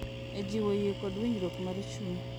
E jiwo yie kod winjruok mar chuny.